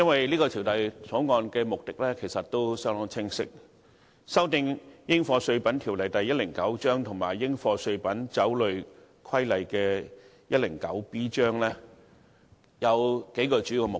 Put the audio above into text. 這《條例草案》的目的相當清晰，旨在修訂《應課稅品條例》及《應課稅品規例》，以達到數個主要目的。